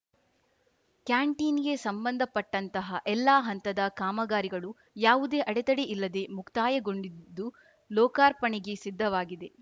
ಕ್ಯಾಂಟೀನ್‌ಗೆ ಸಂಬಂಧಪಟ್ಟಂತಹ ಎಲ್ಲಾ ಹಂತದ ಕಾಮಗಾರಿಗಳು ಯಾವುದೇ ಅಡೆತಡೆ ಇಲ್ಲದೆ ಮುಕ್ತಾಯಗೊಂಡಿದ್ದು ಲೋಕಾರ್ಪಣೆಗೆ ಸಿದ್ಧವಾಗಿದೆ